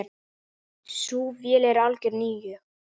Sú vél er algjör nýjung.